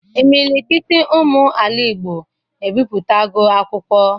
Imilikiti ụmụ ala igbo ebiputago akwụkwọ.